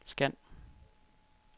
scan